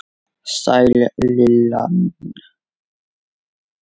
Sæl Lilla mín!